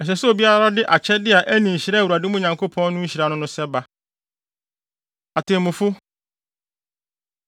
Ɛsɛ sɛ obiara de akyɛde a ɛne nhyira a Awurade, mo Nyankopɔn no, nhyira no no sɛ ba. Atemmufo